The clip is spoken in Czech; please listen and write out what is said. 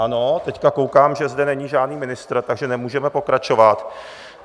Ano, teď koukám, že zde není žádný ministr, takže nemůžeme pokračovat.